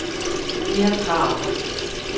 Peer Kragh